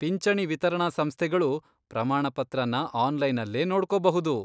ಪಿಂಚಣಿ ವಿತರಣಾ ಸಂಸ್ಥೆಗಳು ಪ್ರಮಾಣಪತ್ರನ ಆನ್ಲೈನಲ್ಲೇ ನೋಡ್ಕೋಬಹುದು.